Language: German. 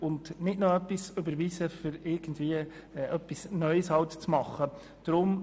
Wir sollten nicht noch einen Vorstoss überweisen, der etwas Neues machen will.